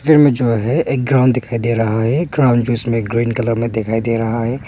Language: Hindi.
जो है एक ग्राउंड दिखाई दे रहा है ग्राउंड जिसमें ग्रीन कलर में दिखाई दे रहा है।